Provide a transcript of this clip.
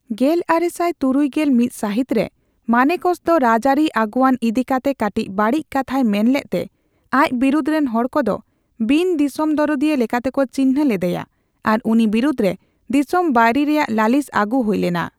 ᱜᱮᱞᱟᱨᱮᱥᱟᱭ ᱛᱩᱨᱩᱭ ᱜᱮᱞ ᱢᱤᱛᱥᱟᱹᱦᱤᱛ ᱨᱮ, ᱢᱟᱱᱮᱠᱥᱚ ᱫᱚ ᱨᱟᱡᱽᱟᱹᱨᱤ ᱟᱹᱜᱩᱭᱟᱹᱱ ᱤᱫᱤ ᱠᱟᱛᱮ ᱠᱟᱴᱤᱪ ᱵᱟᱹᱲᱤᱡ ᱠᱟᱛᱷᱟᱭ ᱢᱮᱱ ᱞᱮᱫᱛᱮ ᱟᱡ ᱵᱤᱨᱩᱫᱷ ᱨᱮᱱ ᱦᱚᱲᱠᱚ ᱫᱚ ᱵᱤᱱ ᱫᱤᱥᱚᱢ ᱫᱚᱨᱚᱫᱤᱭᱟᱹ ᱞᱮᱠᱟᱛᱮᱠᱚ ᱪᱤᱱᱦᱟᱹ ᱞᱮᱫᱮᱭᱟ, ᱟᱨ ᱩᱱᱤ ᱵᱤᱨᱩᱫᱷ ᱨᱮ ᱫᱤᱥᱚᱢ ᱵᱟᱹᱭᱨᱤ ᱨᱮᱭᱟᱜ ᱞᱟᱹᱞᱤᱥ ᱟᱹᱜᱩ ᱦᱩᱭ ᱞᱮᱱᱟ ᱾